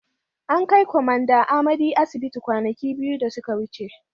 An kai Kwamanda Amadi asibiti kwanaki biyu da suka wuce.